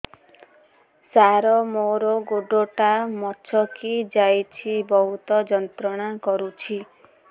ସାର ମୋର ଗୋଡ ଟା ମଛକି ଯାଇଛି ବହୁତ ଯନ୍ତ୍ରଣା କରୁଛି